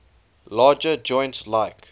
larger joints like